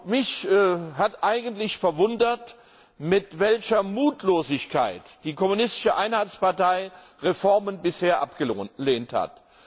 Mich hat eigentlich verwundert, mit welcher Mutlosigkeit die kommunistische Einheitspartei Reformen bisher abgelehnt hat.